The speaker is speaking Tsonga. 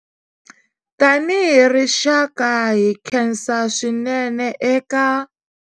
Tanihi rixaka, hi khensa swinene eka.